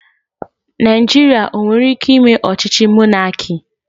Naijiria o nwere ike ime ochíchí mọnaki?